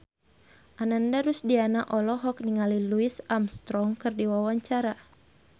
Ananda Rusdiana olohok ningali Louis Armstrong keur diwawancara